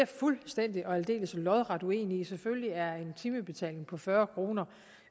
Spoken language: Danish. fuldstændig og aldeles lodret uenig i selvfølgelig er en timebetaling på fyrre kroner